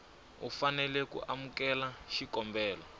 u fanela ku amukela xikombelo